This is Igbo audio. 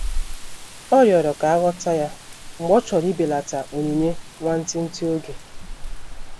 Ọ riọrọ ka aghọta ya mgbe ọ chọrọ ibelata onyinye nwantịtị oge.